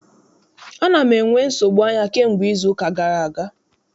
Ana m enwe nsogbu anya kamgbe izuụka gara aga.